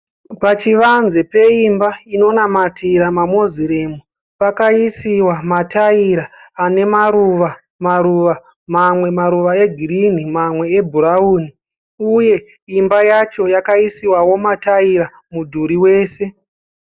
Pachivanze peimba inonamatira maMoslem, pakaisiwa mataira ane maruva maruva, mamwe maruva egirini mamwe ebhurauni uye imba yacho yakaisiwawo mataira mudhuri wese